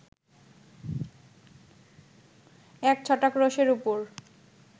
এক ছটাক রোষের ওপর